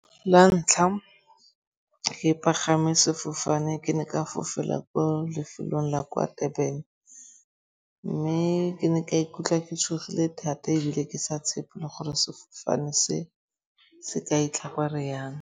La ntlha ke pagame sefofane ke ne ka fofela ko lefelong la kwa Durban. Mme ke ne ka ikutlwa ke tshogile thata ebile ke sa tshepe le gore sefofane se, se ka fitlha ko re yang.